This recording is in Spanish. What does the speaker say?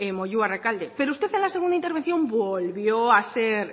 moyua rekalde pero usted en la segunda intervención volvió a ser